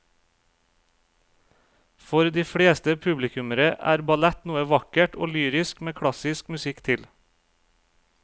For de fleste publikummere er ballett noe vakkert og lyrisk med klassisk musikk til.